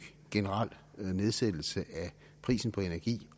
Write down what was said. generel nedsættelse af prisen på energi